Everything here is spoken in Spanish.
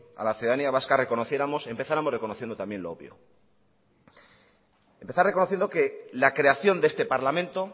a la ciudadanía vasca reconociéramos empezáramos reconociendo también lo obvio empezar reconociendo que la creación de este parlamento